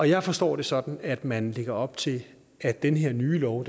jeg forstår det sådan at man lægger op til at den her nye lov